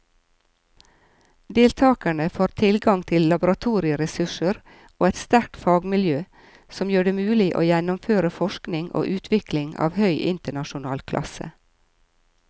Deltakerne får tilgang til laboratorieressurser og et sterkt fagmiljø som gjør det mulig å gjennomføre forskning og utvikling av høy internasjonal klasse.